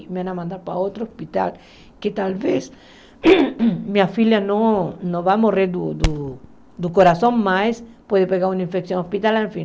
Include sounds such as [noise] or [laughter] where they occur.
Me vão mandar para outro hospital, que talvez [coughs] minha filha não não vá morrer do do coração mais, pode pegar uma infecção hospitalar, enfim.